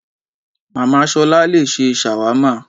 Màmá ṣolá le ṣe ṣàwámà